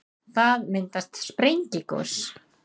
það myndast við sprengigos